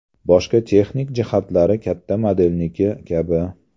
Boshqa texnik jihatlari katta modelniki kabi.